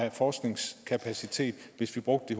i forskningskapacitet hvis vi brugte